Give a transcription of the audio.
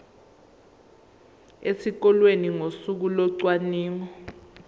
esikoleni ngosuku locwaningo